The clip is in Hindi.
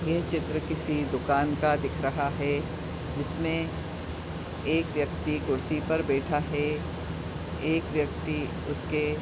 ये चित्र किसी दुकान का दिख रहा है जिसमें एक व्यक्ति कुर्सी पर बैठा है। एक व्यक्ति उसके --